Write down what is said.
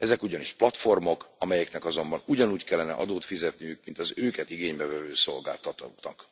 Ezek ugyanis platformok, amelyeknek azonban ugyanúgy kellene adót fizetniük, mint az őket igénybe vevő szolgáltatóknak.